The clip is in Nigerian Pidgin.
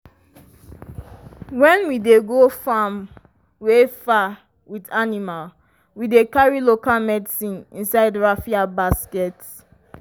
to dey teach young farmers about local medicine for animal dey help make the knowledge no lost.